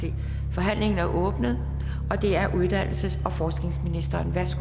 forhandlingen er åbnet og det er uddannelses